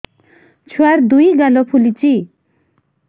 ଛୁଆର୍ ଦୁଇ ଗାଲ ଫୁଲିଚି